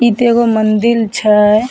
इ ते एगो मंदिर छ ।